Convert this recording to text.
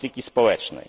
polityki społecznej,